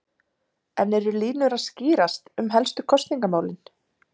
En eru línur að skýrast um helstu kosningamálin?